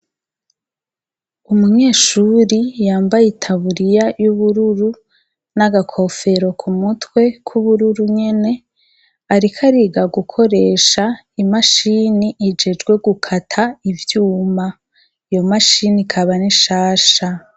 Umunyeshuri yambaye itaburiya y'ubururu n'agakofero ku mutwe kw'ubururu nyene, ariko ariga gukoresha imashini ijejwe gukata ivyuma, iyo mashini ikaba n'ishasha.